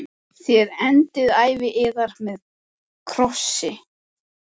Þér endið ævi yðar með krossi.